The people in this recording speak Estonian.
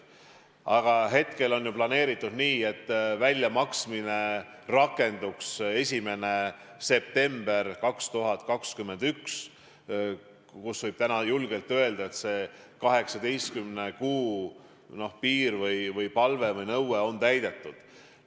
Praegu on planeeritud nii, et väljamaksmine rakenduks 1. septembril 2021 ja siis võib julgelt öelda, et see 18 kuu palve või nõue on täidetud.